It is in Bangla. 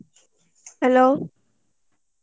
Hello